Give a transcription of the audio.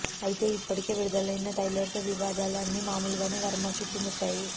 అయితే ఇప్పటికే విడుదలైన ట్రైలర్ తో వివాదాలు అన్ని మామూలుగానే వర్మ చుట్టు ముట్టాయి